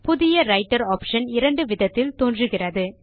புதிய writer option இரண்டு விதத்திலும் தோன்றுகிறது